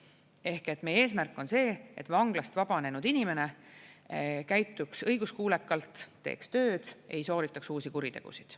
Ehk et meie eesmärk on see, et vanglast vabanenud inimene käituks õiguskuulekalt, teeks tööd, ei sooritataks uusi kuritegusid.